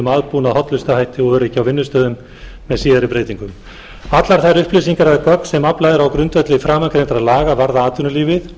aðbúnað hollustuhætti og öryggi á vinnustöðum með síðari breytingum allar þær upplýsingar eða gögn sem aflað er á grundvelli framangreindra laga varða atvinnulífið